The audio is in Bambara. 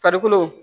Farikolo